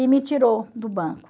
E me tirou do banco.